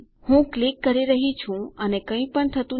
હું ક્લિક કરી રહ્યી છું અને કઈ પણ નથી થતું